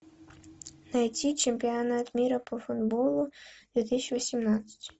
найти чемпионат мира по футболу две тысячи восемнадцать